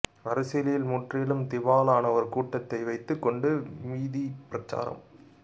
அரசியலில் முற்றிலும் திவாலான ஒரு கூட்டத்தை வைத்துக் கொண்டு வீதி பிரச்சாரம்